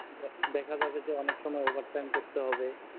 দে দেখা যাবে যে অনেক সময় over time করতে হবে